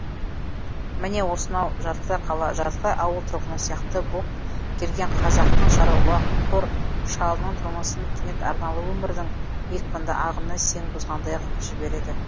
міне осынау жартылай қала жартылай ауыл тұрғыны сияқты боп келген қазақтың шаруақор шалының тұрмысын кенет арналы өмірдің екпінді ағыны сең бұзғандай ғып жібереді